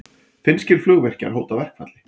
Finnskir flugvirkjar hóta verkfalli